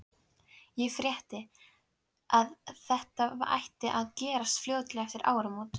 Ég frétti, að þetta ætti að gerast fljótlega eftir áramót